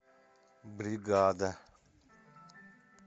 бригада